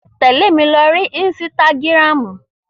Tẹle mi lori ínsìtágirámu!